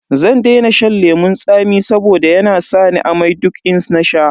Zan daina shan lemun tsami saboda yana sa ni amai duk in nasha.